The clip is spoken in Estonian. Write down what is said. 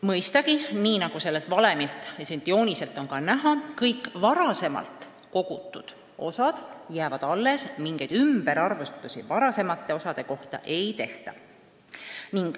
Mõistagi, nii nagu sellelt valemilt ja jooniselt on ka näha, jäävad kõik varem kogutud osad alles, mingeid varasemate osade ümberarvutusi ei tehta.